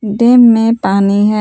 Dam में पानी है।